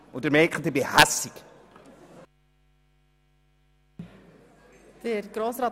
Und nun merken Sie, dass ich sehr aufgebracht bin.